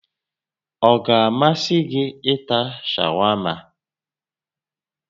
Ọ ga-amasị gị ịta shawama?